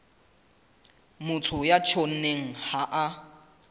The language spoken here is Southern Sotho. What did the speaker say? motho ya tjhonneng ha a